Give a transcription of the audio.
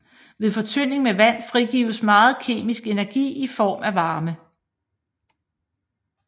Ved fortynding med vand frigives meget kemisk energi i form af varme